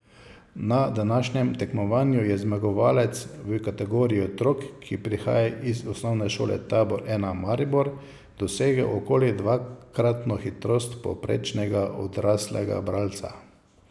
Na današnjem tekmovanju je zmagovalec v kategoriji otrok, ki prihaja iz Osnovne šole Tabor I Maribor, dosegel okoli dvakratno hitrost povprečnega odraslega bralca.